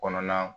Kɔnɔna